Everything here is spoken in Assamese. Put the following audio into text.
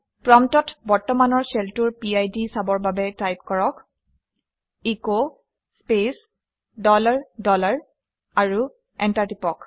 প্ৰম্পটত বৰ্তমানৰ শ্বেলটোৰ পিড চাবৰ বাবে টাইপ কৰক - এচ স্পেচ ডলাৰ ডলাৰ আৰু এণ্টাৰ টিপি দিয়ক